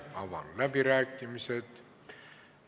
Avan läbirääkimised.